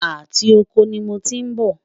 àti okò ní mọ tí n bó